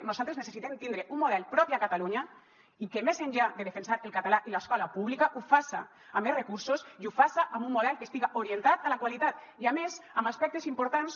nosaltres necessitem tindre un model propi a catalunya i que més enllà de defensar el català i l’escola pública ho faça amb més recursos i ho faça amb un model que estiga orientat a la qualitat i a més amb aspectes importants